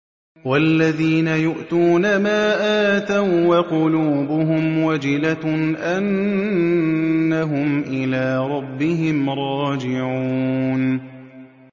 وَالَّذِينَ يُؤْتُونَ مَا آتَوا وَّقُلُوبُهُمْ وَجِلَةٌ أَنَّهُمْ إِلَىٰ رَبِّهِمْ رَاجِعُونَ